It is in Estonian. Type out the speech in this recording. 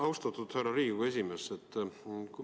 Austatud härra Riigikogu esimees!